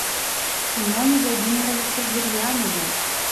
семене владимировиче гурьянове